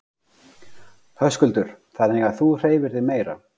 Höskuldur: Þannig að þú hreyfir þig meira?